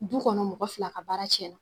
Du kɔnɔ mɔgɔ fila ka baara tiɲɛn